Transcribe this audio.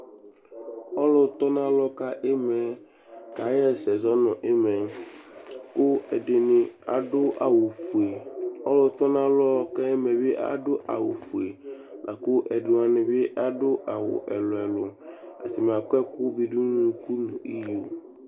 Ɔlʋtɔnalɔ ka ɩma yɛ kaɣa ɛsɛ zɔ nʋ ɩma yɛ kʋ ɛdɩnɩ adʋ awʋfue Ɔlʋtɔnalɔ ka ɩma yɛ bɩ adʋ awʋfue la kʋ ɛdɩ wanɩ bɩ adʋ ɛlʋ-ɛlʋ Atanɩ akɔ ɛkʋ bɩ dʋ nʋ unuku nʋ iyo